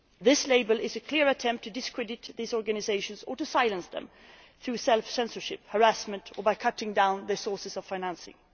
This label is a clear attempt to discredit these organisations or to silence them through self censorship, harassment, or by cutting down their sources of financing.